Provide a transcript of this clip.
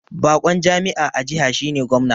Bakon jami'a a jiha shine Gwamna